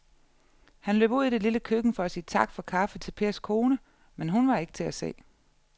Han løb ud i det lille køkken for at sige tak for kaffe til Pers kone, men hun var ikke til at se.